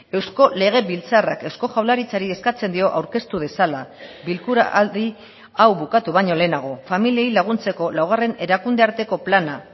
eusko legebiltzarrak eusko jaurlaritzari eskatzen dio aurkeztu dezala bilkura aldi hau bukatu baino lehenago familiei laguntzeko laugarren erakunde arteko plana